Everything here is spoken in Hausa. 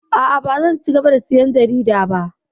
A'a, bazan cigaba da sayan jarida ba.